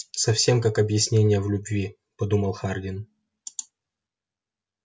совсем как объяснение в любви подумал хардин